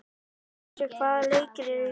Bjössi, hvaða leikir eru í kvöld?